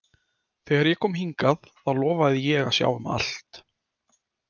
Þegar ég kom hingað þá lofaði ég að sjá um allt.